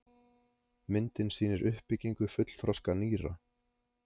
myndin sýnir uppbyggingu fullþroska nýra